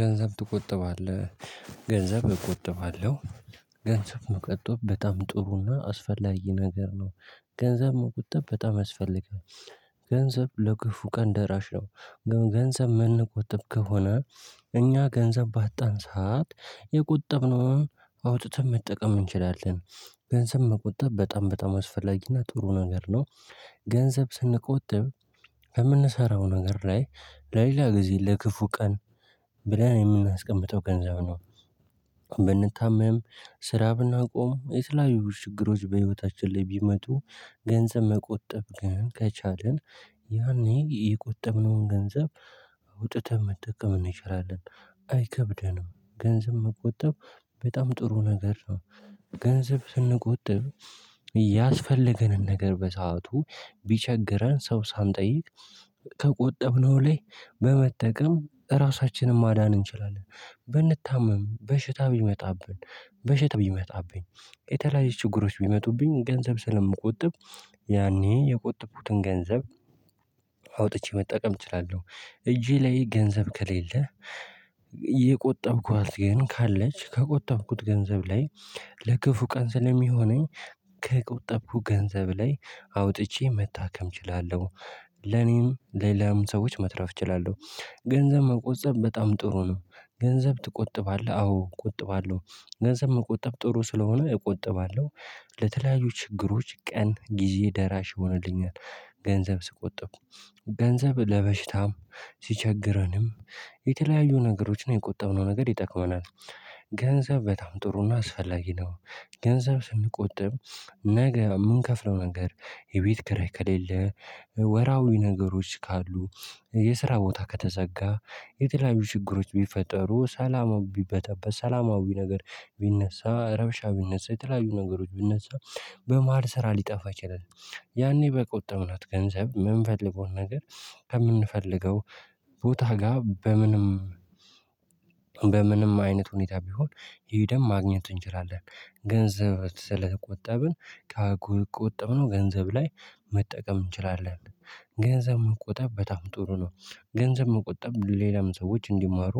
ገንዘብ ትቆጥባለህ ገንዘብ እቆጠባለሁ። ገንዘብ መቆጠብ በጣም ጥሩና አስፈላጊ ነገር ነው። ገንዘብ መቆጠብ በጣም ያስፈልጋል። ገንዘብ ለክፉ ቀን ደራሽ ነው። ገንዘብ እምንቆጥብ ከሆነ እኛ ገንዘብ ባጣን ሰዓት የቆጠብነውን አውጥተን መጠቀም እንችላለን። ገንዘብ መቆጠብ በጣም በጣም አስፈላጊና ጥሩ ነገር ነው። ገንዘብ ስንቆጥብ ከምንሰራው ነገር ላይ ለሌላ ጊዜ ለክፉ ቀን ብለን የምናስቀምጠው ገንዘብ ነው። ብንታመም ስራ ብናቆም የተለያዩ ችግሮች በህይወታችን ላይ ቢመጡ ገንዘብ መቆጠብ ግን ከቻልን ያኔ የቆጠብነውን ገንዘብ አውጥተን መጠቀም እንችላለን። አይከብደንም ገንዘብ መቆጠብ በጣም ጥሩ ነገር ነው። ገንዘብ ስንቆጥብ ያስፈለገንን ነገር በሰአቱ ቢቸግረን ሰው ሳምጠይቅ ከቆጠብነው ላይ በመጠቀም ራሳችንን ማዳን እንችላለን። ብንታመም በሽታ ቢመጣብን በሽታ ቢመጣብን የተለያየ ችግሮች ቢመጡብኝ ገንዘብ ስለምቆጥብ ያኔ የቆጠብኩትን ገንዘብ አውጥቼ መጠቀም እችላለሁ። እጄ ላይ ገንዘብ ከሌለ። የቆጠብኳት ግን ካለች ከቆጠብኩት ገንዘብ ላይ ለክፉ ቀን ስለሚሆነኝ ከቆጠብኩት ገንዘብ ላይ አውጥቼ መታከም እችላለሁ። ለኔም ለሌላም ሰዎች መትረፍ እችላለሁ። ገንዘብ መቆጠብ በጣም ጥሩ ነው። ገንዘብ ትቆጥባለህ? አዎ እቆጥባለሁ። ገንዘብ መቆጠብ ጥሩ ስለሆነ እቆጥባለሁ ለተለያዩ ችግሮች ቀን ጊዜ ደራሽ ሆነልኛል። ገንዘብ ስቆጠብ ገንዘብ ለበሽታም ሲቸግረንም የተለያዩ ነገሮችን የቆጠብነው ነገር ይጠቅመናል። ገንዘብ በጣም ጥሩና አስፈላጊ ነው። ገንዘብ ስንቆጥብ ነገ እምንከፍለው ነገር የቤት ኪራይ ከሌለ ወራዊ ነገሮች ካሉ የስራ ቦታ ከተዘጋ የተለያዩ ችግሮች ቢፈጠሩ ሰላም ቢበጠበጥ ሰላማዊ ነገር ቢነሳ ረብሻ ቢነሳ የተለያዩ ነገሮች ቢነሳ በመሃል ስራ ሊጠፋ ይችላል። ያኔ በቆጠመናት ገንዘብ የምንፈልገውን ነገር ከምንፈልገው ቦታ ጋር በምንም በምንም አይነት ሁኔታ ቢሆን ሂደን ማግኘት እንችላለን። ገንዘብ ስለቆጠብን ከቆጠብነው ገንዘብ ላይ መጠቀም እንችላለን። ገንዘብ መቆጠብ በጣም ጥሩ ነው። ገንዘብ መቆጠብ ሌላም ሰዎች እንዲማሩ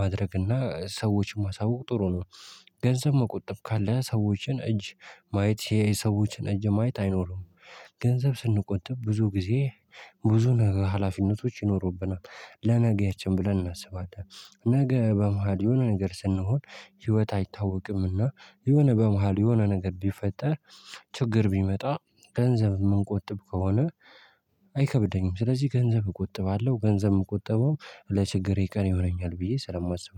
ማድረግና ሰዎችን ማሳወቅ ጥሩ ነው። ገንዘብ መቆጠብ ካለ ሰዎችን እጅ ማየት የሰዎችን እጅ ማየት አይኖርም። ገንዘብ ስንቆጥብ ብዙ ጊዜ ብዙ ነገር ሀላፊነቶች ይኖሩብናል ለነገአችን ብለን እናስባታለን። ነገ በመሃል የሆነ ነገር ስንሆን ህይወት አይታወቅምና። የሆነ በመሃል የሆነ ነገር ቢፈጠር ችግር ቢመጣ ገንዘብ የምንቆጥብ ከሆነ አይከብደኝም ስለዚህ ገንዘብ እቆጥባለሁ። ገንዘብ የምቆጠበው ለችግሬ ቀን ይሆነኛል ብዬ ስለማስብ